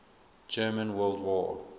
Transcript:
german world war